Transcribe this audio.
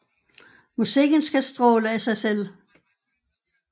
Musikken skal stråle af sig selv